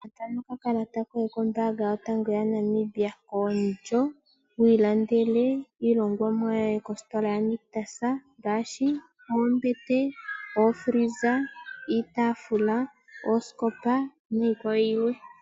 Futa nokakalata koye kombaanga yotango yopashigwana yaNamibia oondjo wi ilandele Iilongomwa yoye kositola yo Nictus opo wi ilandele oombete, iitafula, oosikopa niikwawo yilwe.